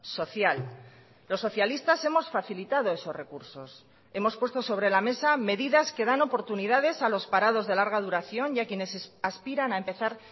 social los socialistas hemos facilitado esos recursos hemos puesto sobre la mesa medidas que dan oportunidades a los parados de larga duración y a quienes aspiran a empezar